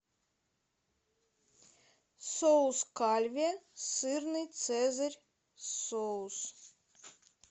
соус кальве сырный цезарь соус